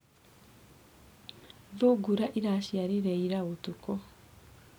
Thungura ĩraciarire ira ũtukũ.